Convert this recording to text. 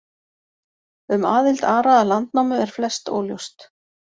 Um aðild Ara að Landnámu er flest óljóst.